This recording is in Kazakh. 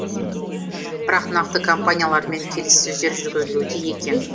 бірақ нақты компаниялармен келіссөздер жүргізілуде екен